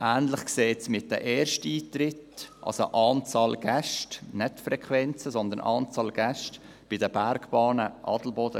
Ähnlich sieht es bei den Ersteintritten aus, das heisst, bei der Anzahl Gäste der Bergbahnen Adelboden.